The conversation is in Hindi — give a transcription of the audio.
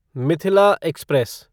मिथिला एक्सप्रेस